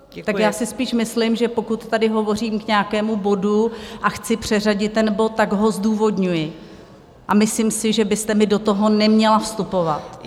Tak já si spíš myslím, že pokud tady hovořím k nějakému bodu a chci přeřadit ten bod, tak ho zdůvodňuji, a myslím si, že byste mi do toho neměla vstupovat.